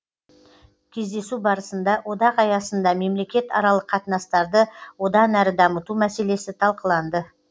кездесу барысында одақ аясында мемлекет аралық қатынастарды одан әрі дамыту мәселесі талқыланды